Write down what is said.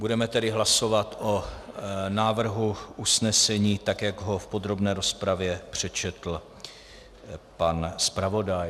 Budeme tedy hlasovat o návrhu usnesení, tak jak ho v podrobné rozpravě přečetl pan zpravodaj.